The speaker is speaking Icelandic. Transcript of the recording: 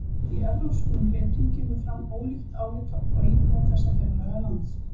Í evrópskum ritum kemur fram ólíkt álit á íbúum þessa fjarlæga lands.